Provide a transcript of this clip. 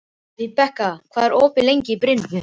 Vibeka, hvað er opið lengi í Brynju?